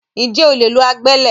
Ǹjẹ́ o lè lo agbẹ́lẹ̀?